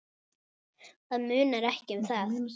Það munar ekki um það!